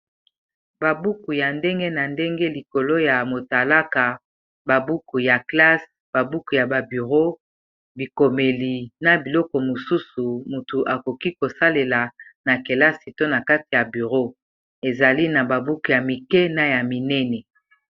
babuku ya ndenge na ndenge likolo ya motalaka babuku ya classe babuku ya baburo bikomeli na biloko mosusu motu akoki kosalela na kelasi to na kati ya buro ezali na babuku ya mike na ya minene